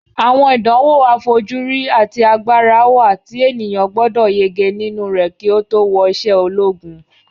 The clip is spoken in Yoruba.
Àwọn ìdánwò àfojúrí àti agbára wà tí ènìyàn gbọdọ̀ yege nínú rẹ̀ kí ó tó wọ isẹ́ ológun